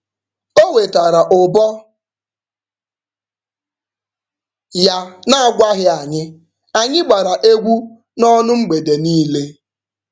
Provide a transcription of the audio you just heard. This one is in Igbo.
O wetara ụbọ ya n'agwaghị anyị, anyị gbara egwu n'ọṅụ mgbede niile.